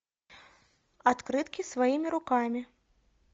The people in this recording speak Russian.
открытки своими руками